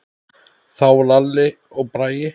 Þá Lalli og Bragi.